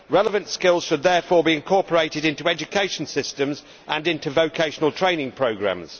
Relevant skills should therefore be incorporated into education systems and into vocational training programmes.